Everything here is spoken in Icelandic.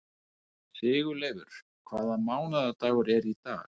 Sigurleifur, hvaða mánaðardagur er í dag?